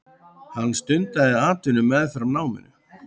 Hann stundaði atvinnu meðfram náminu.